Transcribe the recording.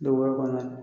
Duguba kɔnɔ